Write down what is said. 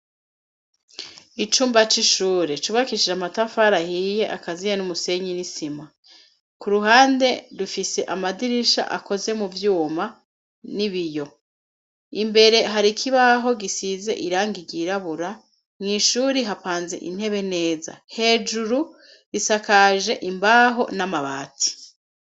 Icumba c'ishuri cubakishije amatafari ahiye akaziye n'umusenyi n'isima, ku ruhande rufise amadirisha akoze mu vyuma n'ibiyo ,imbere har'ikibaho gisize irangi ryirabura mw' ishuri hapanze intebe neza, hejuru risakaje imbaho n'amabati.